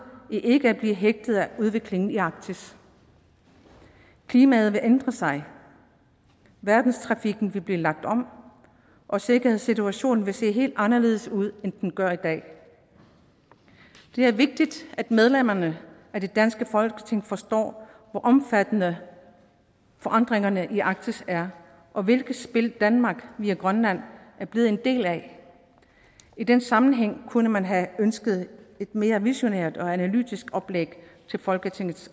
i ikke at blive hægtet af udviklingen i arktis klimaet vil ændre sig verdenstrafikken vil blive lagt om og sikkerhedssituationen vil se helt anderledes ud end den gør i dag det er vigtigt at medlemmerne af det danske folketing forstår hvor omfattende forandringerne i arktis er og hvilket spil danmark via grønland er blevet en del af i den sammenhæng kunne man have ønsket et mere visionært og analytisk oplæg til folketingets